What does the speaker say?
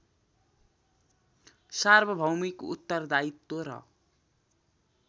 सार्वभौमिक उत्तरदायित्व र